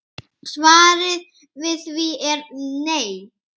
Svarið við því er nei.